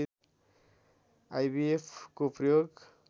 IVF को प्रयोग